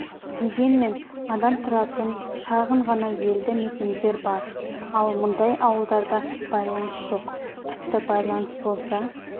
дегенмен адам тұратын шағын ғана елді мекендер бар ал мұндай ауылдарда байланыс жоқ тіпті байланыс болса